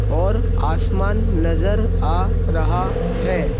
और आसमान नजर आ रहा है।